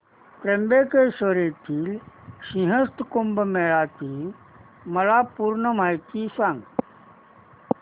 त्र्यंबकेश्वर येथील सिंहस्थ कुंभमेळा ची मला पूर्ण माहिती सांग